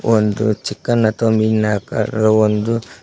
ಒಂದು ಚಿಕ್ಕನ ಅಥವಾ ಮೀನ ಆಕಾರ ಒಂದು--